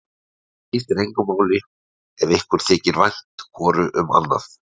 Það skiptir engu máli ef ykkur þykir vænt hvoru um annað.